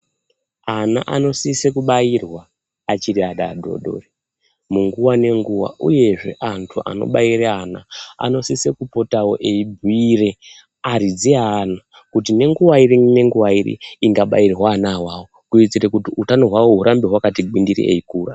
Ana anosise kubairwa achiri ana adoodori munguwa nenguwa uye zvee antu anobaire ana anosise kupotawo eibhuyire aridzi eana kuti nenguwa iri nenguwa iri ingabairwa ana awawo kuitire kuti utano hwawo urambe wakati gwindiri eikura.